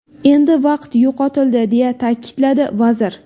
Endi vaqt yo‘qotildi”, deya ta’kidladi vazir.